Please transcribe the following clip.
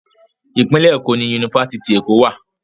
Ìpínlẹ̀ Èkó ni Yunifásitì Èkó wà.